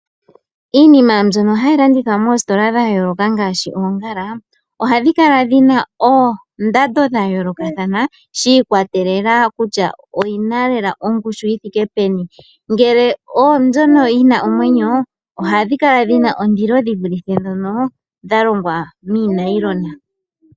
Iinima mbyono halilandithwa mositola dhayoloka ngashi ongala ohadhikala dhina ondando dhayoloka thana shikwatelela kutya oyina lela ongushu yithike peni ngele odhono dhina omwenyo ohadhikala dhina ondilo shivulithe dhono dhalongwa minayilona.